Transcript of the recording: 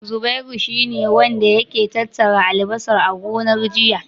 Zubairu shi ne wanda yake tattara albasar a gonar, jiya.